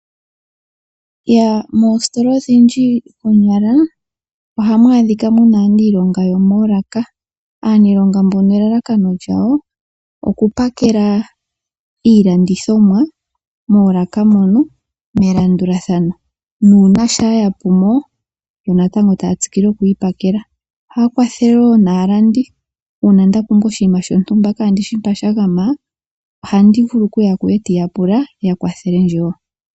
Moositola odhindji konyala ohmu adhika muna aaniilonga yomoolaka . Aanilonga mbono elalakano lyawo oku pakela iilandithomwa moolaka mono melandulathano nuuna shampa yapumo yo natango taya tsikile oku yi pakela. Ohaya kwathele woo naalandi uuna ndapumbwa oshinima shontumba ndele kandishi mpoka shagama ohevulu okuya kuye etandu yapula ya kwathelendje woo.